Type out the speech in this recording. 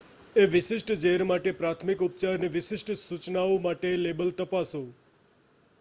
એ વિશિષ્ટ ઝેર માટે પ્રાથમિક ઉપચારની વિશિષ્ટ સૂચનાઓ માટેનું લેબલ તપાસો